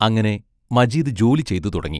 അങ്ങനെ മജീദ് ജോലി ചെയ്തുതുടങ്ങി.